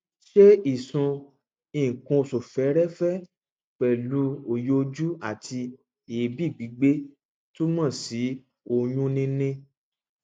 ṣé ìsun nǹkanoṣù fẹẹrẹfẹ pẹlú òyìojú àti èébì gbígbé túmọ sí oyúnníní